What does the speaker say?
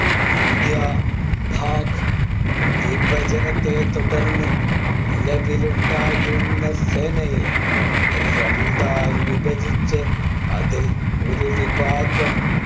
India-Pak വിഭജനത്തെ തുടർന്ന് നിലവിലുണ്ടായിരുന്ന സേനയെ രണ്ടായി വിഭജിച്ചു അതിൽ ഒരു വിഭാഗം